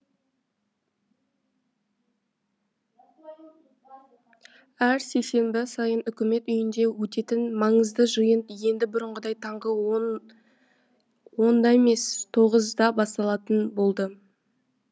әр сейсенбі сайын үкімет үйінде өтетін маңызды жиын енді бұрынғыдай таңғы онда емес тоғызда басталатын болды